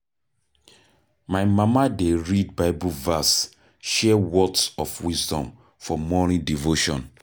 My mama dey read Bible verse, share words of wisdom for morning devotion.